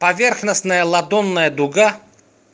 поверхностная ладонная дуга